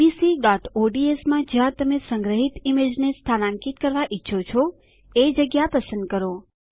abcઓડ્સ માં જ્યાં તમે સંગ્રહીત ઈમેજને સ્થાનાંકિત કરવા ઈચ્છો છો એ જગ્યા પસંદ કરો